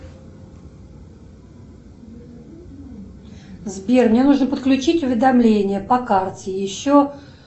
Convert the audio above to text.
сбер мне нужно подключить уведомление по карте еще